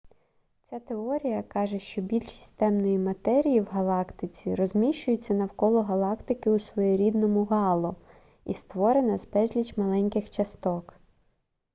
ця теорія каже що більшість темної матерії в галактиці розміщується навколо галактики у своєрідному гало і створена з безлічі маленьких часток